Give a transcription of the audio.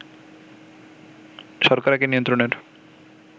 শর্করাকে নিয়ন্ত্রণের